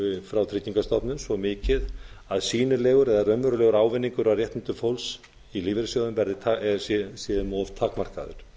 frá tryggingastofnun svo mikið að sýnilegur eða raunverulegur ávinningur á réttindum fólks í lífeyrissjóðum sé um of takmarkaður